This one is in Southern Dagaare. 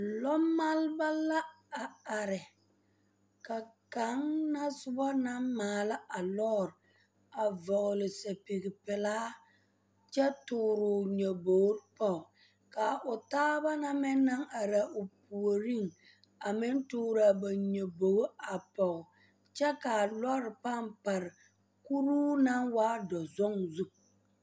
Lɔmaaleba la a are ka kaŋ na soba naŋ maala a lɔɔre a vɔgle sapili pelaa kyɛ tuuri o nyɔbogri ka o taaba meŋ naŋ are o puoriŋ a meŋ tuuro a ba nyɔbogo a pɔge kyɛ ka a lɔɔre pãã pare kuruu naŋ waa dɔzɔŋ zu.